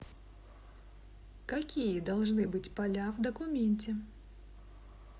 какие должны быть поля в документе